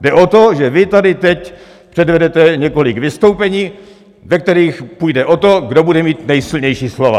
Jde o to, že vy tady teď předvedete několik vystoupení, ve kterých půjde o to, kdo bude mít nejsilnější slova.